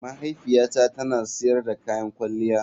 Mahaifiyata tana sayar da kayan kwalliya.